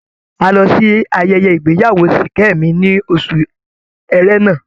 A lọ sí ayẹyẹ ìgbéyawó Ṣìkẹ́mi ní oṣù Ẹ̀rẹnà.